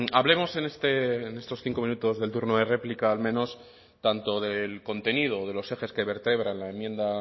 hablemos en estos cinco minutos del turno de réplica al menos tanto del contenido de los ejes que vertebran la enmienda